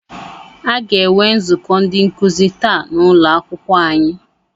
Aga enwe nzukọ ndị nkuzi taa n'ụlọakwụkwọ anyị.